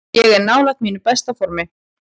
Ég er nálægt mínu besta formi.